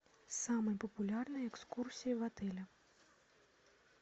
самые популярные экскурсии в отеле